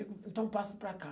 Eu digo, então passa para cá.